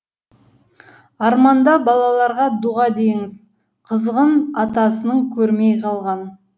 арманда балаларға дұға деңізқызығын атасының көрмей қалған